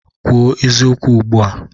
Kwuo eziokwu ugbu a!